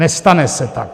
Nestane se tak.